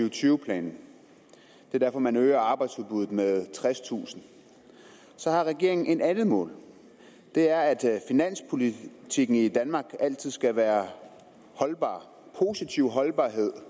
og tyve planen det er derfor man øger arbejdsudbuddet med tredstusind så har regeringen et andet mål og det er at finanspolitikken i danmark altid skal være holdbar positiv holdbarhed